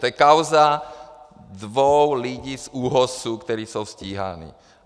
To je kauza dvou lidí z ÚOHSu, kteří jsou stíháni.